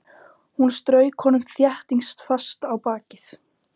Hún strauk honum þéttingsfast á bakið.